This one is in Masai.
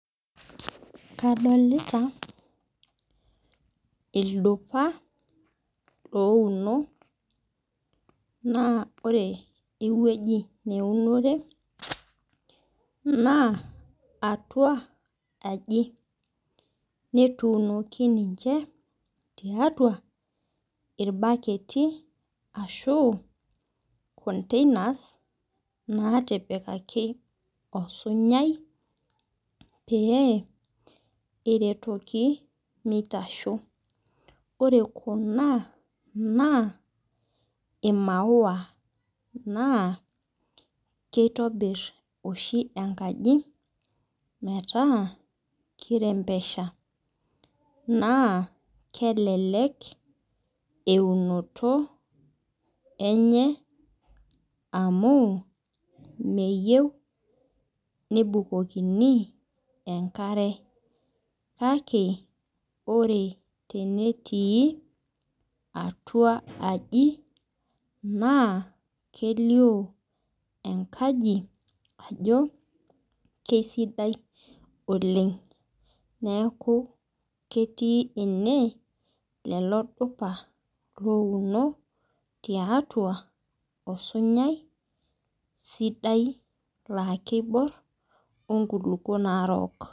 Kadolta ilduoa ouno na ore ewueji neunore na atua aji netuunoki ninche tiatua irbaketi ashu containers natipikaki osunyai peeretoki minoto na imaua na keitobir oabibenkaji metaa kirembesha na kelek eunoto enye amu meyieu nebukokini enkare kake ore tenetii atua enkaji na kelio enkaji ajo kesidai oleng neaku ketii ene lolodupa ouno tiatua osinyai sidai na kibor onkulukuk naibor.